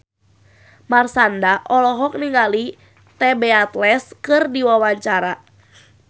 Marshanda olohok ningali The Beatles keur diwawancara